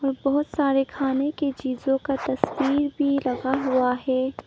बहुत सारे खाने की चीजों का तस्वीर भी लगा हुआ है।